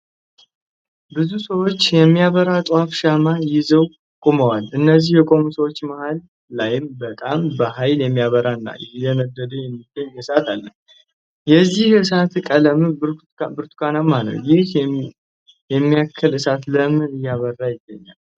ብዙ ሰዎች የሚበራ ጧፍ ሻማን ይዘው ቆመዋል፤ እነዚህ የቆሙ ሰዎች መሃል ላይም በጣም በሃይል እየበራ እና እየነደደ የሚገኝ እሳት አለ። የዚህ እሳት ቀለምም ብርቱካናማ ነው። ይሀን የሚያክል እሳት ለምን እየበራ ይገኛል?